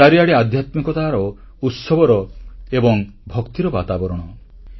ଚାରିଆଡ଼େ ଆଧ୍ୟାତ୍ମିକତାର ଉତ୍ସବର ଓ ଭକ୍ତିର ବାତାବରଣ